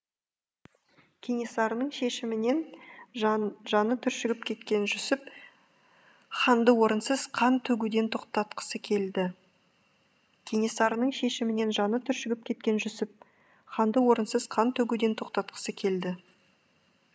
кенесарының шешімінен жаны түршігіп кеткен жүсіп ханды орынсыз қан төгуден тоқтатқысы келді кенесарының шешімінен жаны түршігіп кеткен жүсіп ханды орынсыз қан төгуден тоқтатқысы келді